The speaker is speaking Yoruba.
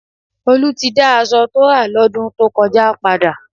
Olú ti dá aṣọ tó rà lọ́dún tó kọjá padà